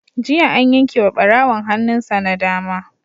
Jiya an yanke wa ɓarawon hannun sa na dama.